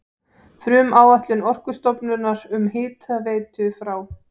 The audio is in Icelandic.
Frumáætlun Orkustofnunar um hitaveitu frá